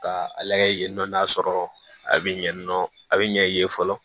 Ka a layɛ nɔ n'a sɔrɔ a bɛ ɲɛ yen nɔ a bɛ ɲɛ yen yen fɔlɔ